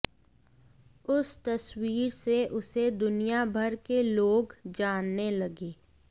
उस तस्वीर से उसे दुनियाभर के लोग जानने लगे